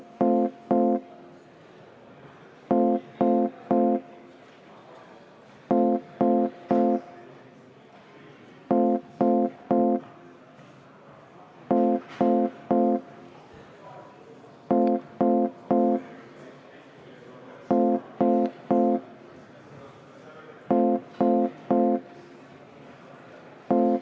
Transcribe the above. Austatud Riigikogu, panen hääletusele peaministrikandidaat Jüri Ratasele Vabariigi Valitsuse moodustamiseks volituste andmise.